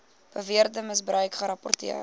beweerde misbruik gerapporteer